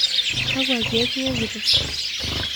Kakua keek iwokito?